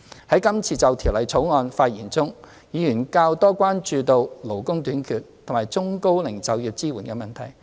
在今次就《條例草案》的發言中，議員較多關注勞工短缺及中高齡就業支援的問題。